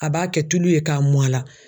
A b'a kɛ tulu ye k'a mun a la